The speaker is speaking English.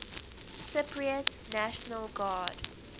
cypriot national guard